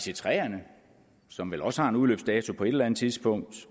ic3erne som vel også har en udløbsdato på et eller andet tidspunkt